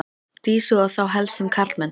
Dísu og þá helst um karlmenn.